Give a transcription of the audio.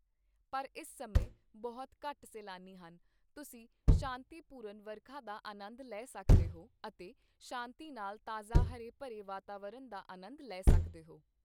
ਪਰ ਇਸ ਸਮੇਂ ਬਹੁਤ ਘੱਟ ਸੈਲਾਨੀ ਹਨ, ਤੁਸੀਂ ਸ਼ਾਂਤੀਪੂਰਨ ਵਰਖਾ ਦਾ ਆਨੰਦ ਲੈ ਸਕਦੇ ਹੋ ਅਤੇ ਸ਼ਾਂਤੀ ਨਾਲ ਤਾਜ਼ਾ ਹਰੇ ਭਰੇ ਵਾਤਾਵਰਣ ਦਾ ਆਨੰਦ ਲੈ ਸਕਦੇ ਹੋ।